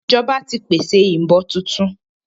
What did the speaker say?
Ìjọba ti pèsè ìbọn tuntun